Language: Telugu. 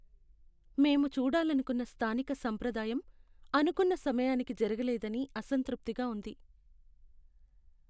మేము చూడాలనుకున్న స్థానిక సంప్రదాయం అనుకున్న సమయానికి జరగలేదని అసంతృప్తిగా ఉంది.